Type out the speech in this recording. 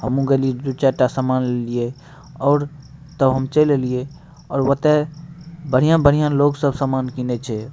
हम्मू गेली दु-चार टा सामान लेलिए और तब हम चेल एलिये और वतय बढ़िया-बढ़िया लोग सब सामान किनय छै।